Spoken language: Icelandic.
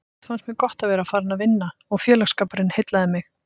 Samt fannst mér gott að vera farin að vinna og félagsskapurinn heillaði mig.